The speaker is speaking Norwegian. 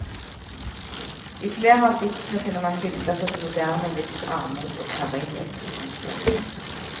I flere av diktene finner man bilder på det moderne livs armod og karrighet. punktum